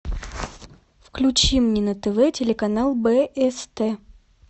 включи мне на тв телеканал бст